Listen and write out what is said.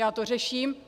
Já to řeším.